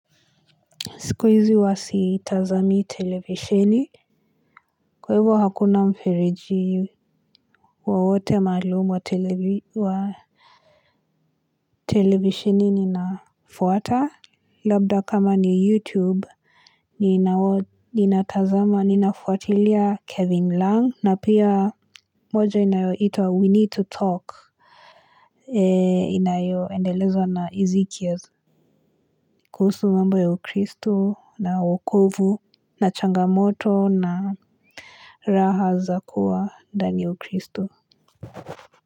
Sikuizi huwa sitazami televisheni. Kwa hivyo hakuna mferiji wowote malumu wa televisheni ninafuwata. Labda kama ni YouTube, ninafuwatilia Kevin Lang. Na pia moja inayo itwa We Need to Talk. Inayo endelezo na Izikiaz. Kuhusu mambo ya ukristo na wokovu na changamoto na Raha Zakua ndani ya uChristo.